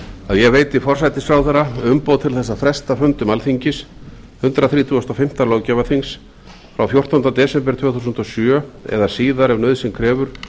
að ég veiti forsætisráðherra umboð til þess að fresta fundum alþingis hundrað þrítugasta og fimmta löggjafarþings frá fjórtándu desember tvö þúsund og sjö eða síðar ef nauðsyn krefur